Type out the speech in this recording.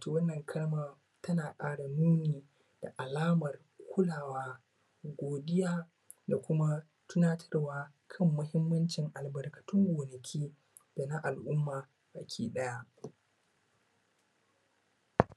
To wannan kalma tana ƙara nuna da alamar kulawa godiya tunatarwa kan muhimmancin albarkatun gona da noma baki ɗaya.